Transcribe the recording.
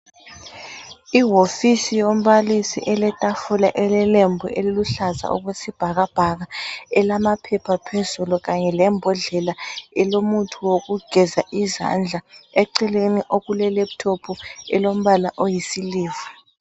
Ihofisi yombalisi, eletafula elelembu eliluhlaza okwesibhakabhaka, elamaphepha phezulu kanye lembodlela elomuthi wokugeza izandla. Eceleni okule laptop elombala oyi silver.